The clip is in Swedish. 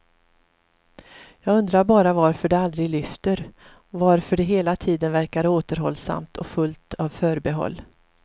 Jag undrar bara varför det aldrig lyfter, varför det hela tiden verkar återhållsamt och fullt av förbehåll.